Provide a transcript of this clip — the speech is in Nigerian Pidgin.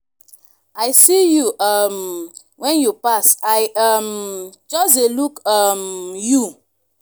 i see you um wen you pass i um just dey look um you.